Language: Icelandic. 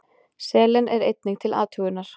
Selen er einnig til athugunar.